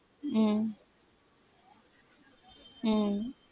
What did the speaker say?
உம் உம்